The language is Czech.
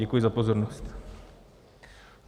Děkuji za pozornost.